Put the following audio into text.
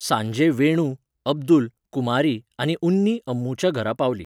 सांजे वेणु, अब्दुल, कुमारी आनी उन्नी अम्मूच्या घरा पावलीं.